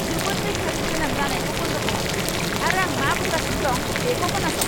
जोबोद रैखाथि गोनां जानायखौ बन्द खालाम आरो आं मा बुंगासिनो दं, बेखौ खोनासं!